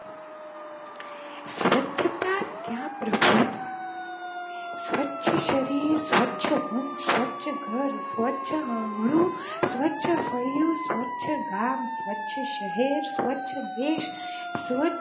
ક્યાં પ્રભુ સ્વરછ શરીર, સ્વચ્છ ધન, સ્વચ્છ ઘર, સ્વચ્છ આંગણું, સ્વચ્છ ફળીયુ, સ્વચ્છ ગામ, સ્વચ્છ શહેર, સ્વચ્છ દેશ,